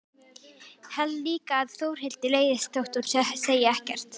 Held líka að Þórhildi leiðist þótt hún segi ekkert.